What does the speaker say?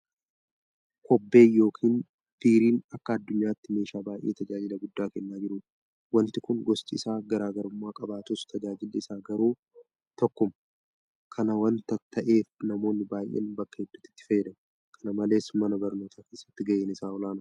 Kobbeen yookiin biiriin akka addunyaatti meeshaa baay'ee tajaajila guddaa kennaa jirudha. Wanti kun gosti isaa garaa garummaa qabaatus tajaajilli isaa garuu tokkuma. Kana waanta ta'eef namoonni baay'een bakka hedduutti itti fayyadamu. Kana malees mana barnootaa keessatti gaheen isaa olaanaadha.